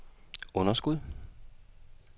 underskud